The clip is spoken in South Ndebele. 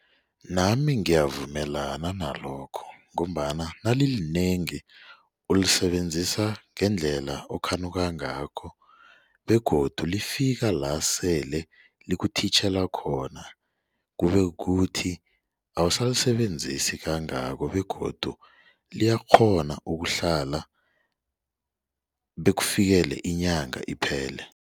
Nami ngiyavumelana nalokho ngombana nalilinengi ulisebenzisa ngendlela okhanuka ngakho begodu lifika la sele likuthitjhela khona kube kuthi awusalisebenzisi kangako begodu liyakghona ukuhlala bekufikele inyanga iphele.